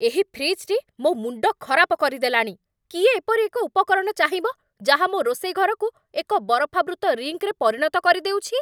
ଏହି ଫ୍ରିଜ୍‌‌ଟି ମୋ ମୁଣ୍ଡ ଖରାପ କରିଦେଲାଣି। କିଏ ଏପରି ଏକ ଉପକରଣ ଚାହିଁବ ଯାହା ମୋ ରୋଷେଇ ଘରକୁ ଏକ ବରଫାବୃତ ରିଙ୍କ୍‌ରେ ପରିଣତ କରିଦେଉଛି?